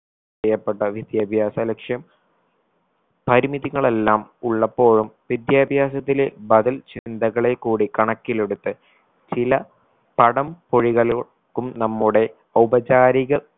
പ്രിയപ്പെട്ട വിദ്യാഭ്യാസ ലക്ഷ്യം പരിമിതികളെല്ലാം ഉള്ളപ്പോഴും വിദ്യാഭ്യാസത്തിലെ ബദൽ ചിന്തകളെ കൂടി കണക്കിലെടുത്ത് ചില പടം പൊഴികലോ ക്കും നമ്മുടെ ഔപചാരിക